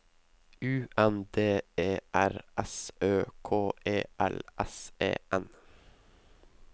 U N D E R S Ø K E L S E N